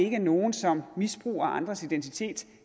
ikke er nogen som misbruger andres identitet